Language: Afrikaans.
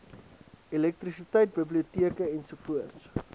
elektrisiteit biblioteke ens